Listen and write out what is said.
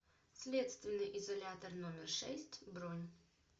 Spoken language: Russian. следственный изолятор номер шесть бронь